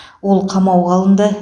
ол қамауға алынды